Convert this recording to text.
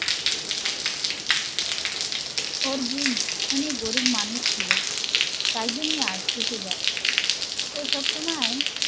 ওর বোন অনেক গরিব মানুষ ছিল তাই জন্য আজ থেকে যায়, ও সবসময়